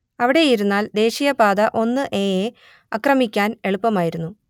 അവിടെയിരുന്നാൽ ദേശീയപാത ഒന്ന് എ യെ അക്രമിക്കാൻ എളുപ്പമായിരുന്നു